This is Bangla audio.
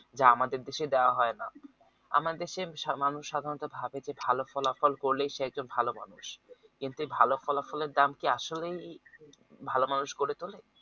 যে আমাদের দেশে দাওয়া হয় না আমাদের দেশে মানুষ সাধারণ ভাবে যে ভালো ফলাফল করলেই সে একজন ভালো মানুষ কিন্তু ভালো ফলাফলের দাম কি আসলেই ভালো মানুষ গড়ে তুলে